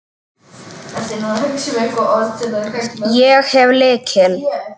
Ég hef lykil.